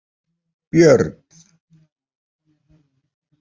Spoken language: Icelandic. Björn